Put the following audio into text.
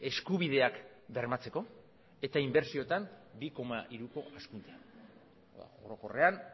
eskubideak bermatzeko eta inbertsioetan bi koma hiruko hazkundea orokorrean